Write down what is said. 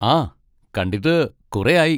ആ, കണ്ടിട്ട് കുറേ ആയി.